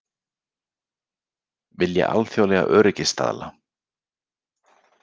Vilja alþjóðlega öryggisstaðla